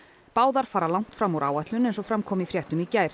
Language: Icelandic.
báðar fara langt fram úr áætlun eins og fram kom í fréttum í gær